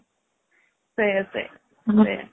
ସେଇଆ ସେଇଆ ସେଇଆ